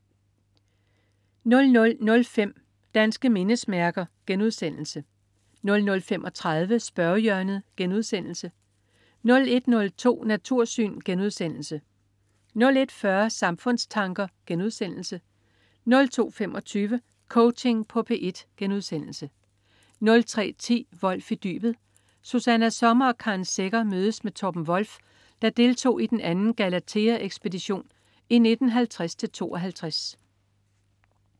00.05 Danske mindesmærker* 00.35 Spørgehjørnet* 01.02 Natursyn* 01.40 Samfundstanker* 02.25 Coaching på P1* 03.10 Wolff i dybet. Susanna Sommer og Karen Secher mødes med Torben Wolff, der deltog i den anden Galatheaekspedition i 1950-52